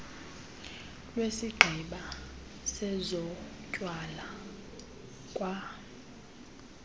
lwesigqeba sezotywala kwa